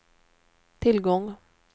tillgång